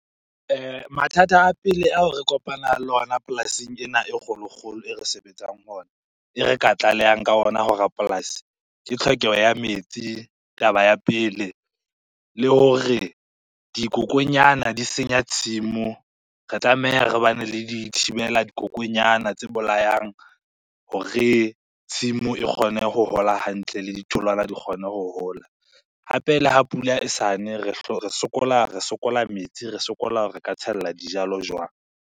Mathata a pele ao re kopanang le ona polasing ena e kgolokgolo e re sebetsang ho ona, e re ka tlalehang ka ona ho rapolasi. Ke tlhokeho ya metsi, taba ya pele. Le hore dikokonyana di senya tshimo, re tlameha re bane le di thibela dikokonyana tse bolayang hore tshimo e kgone ho hola hantle le ditholwana di kgone ho hola. Hape, le ha pula e sane re sokola metsi, re sokola re ka tshella dijalo jwang.